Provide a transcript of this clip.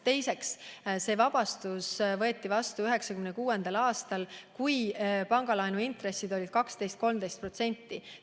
Teiseks, see vabastus võeti vastu 1996. aastal, kui pangalaenu intressid olid 12–13%.